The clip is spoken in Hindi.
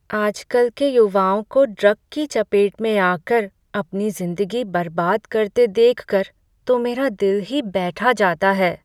आजकल के युवाओं को ड्रग की चपेट में आकर अपनी ज़िंदगी बर्बाद करते देखकर तो मेरा दिल ही बैठा जाता है।